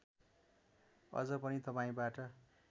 अझ पनि तपाईँबाट